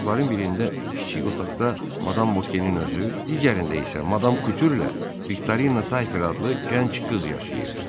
Otaqların birində, kiçik otaqda Madam Voquenin özü, digərində isə Madam Kutürlə Viktorina Tayfer adlı gənc qız yaşayırdı.